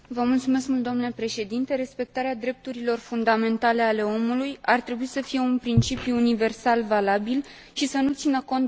Respectarea drepturilor fundamentale ale omului ar trebui să fie un principiu universal valabil și să nu țină cont de țară sau religie.